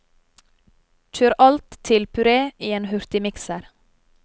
Kjør alt til puré i en hurtigmikser.